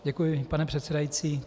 Děkuji, pane předsedající.